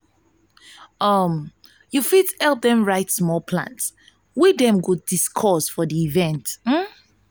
um yu fit help dem write plans wey dem wan discuss for di event um